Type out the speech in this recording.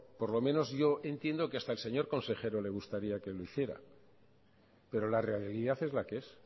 por lo menos yo entiendo que hasta al señor consejero le gustaría que lo hiciera pero la realidad es la que es